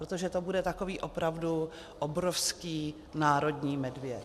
Protože to bude takový opravdu obrovský národní medvěd.